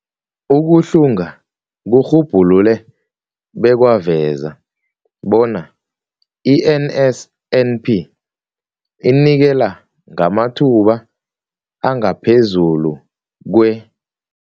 Ukuhlunga kurhubhulule bekwaveza bona i-NSNP inikela ngamathuba angaphezulu kwe-